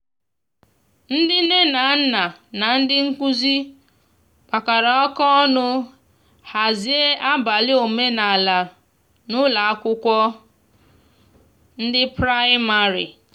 ndi nne na nna na ndi nkụzi kpakọrọ aka ọnụ hazie abali omenala n'ụlọ akwụkwo ndi praịmarị